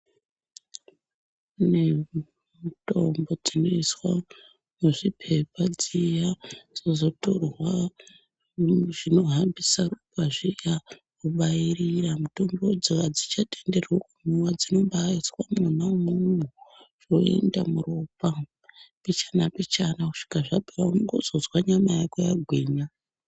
Kune mitombo dzinoiswa muzvipepa dziya dzozotorwa zvinohambisa ropa zviya vobairira mitombodzo adzichatenderwi kumwiwa dzinombaiswa mona imwomwo zvoenda muropa mbichana mbichana kusvika zvapera ungozozwa nyama yako yagwinya.